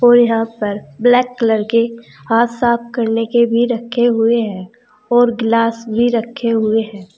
और यहां पर ब्लैक कलर के हाथ साफ करने के भी रखे हुए है और ग्लास भी रखे हुए है।